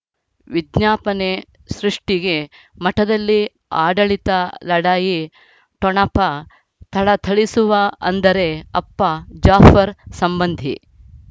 ವಿಜ್ಞಾಪನೆ ಸೃಷ್ಟಿಗೆ ಮಠದಲ್ಲಿ ಆಡಳಿತ ಲಢಾಯಿ ಠೊಣಪ ಥಳಥಳಿಸುವ ಅಂದರೆ ಅಪ್ಪ ಜಾಫರ್ ಸಂಬಂಧಿ